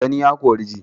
Gani ya kori ji